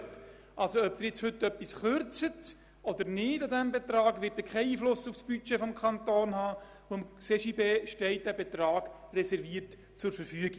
Ob Sie heute also eine Kürzung des Betrags vornehmen oder nicht, wird keinen Einfluss auf das Budget des Kantons haben, denn der Betrag ist für den CJB reserviert und steht ihm zur Verfügung.